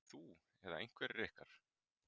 Þú eða einhverjir ykkar?